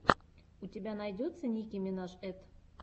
у тебя найдется ники минаж эт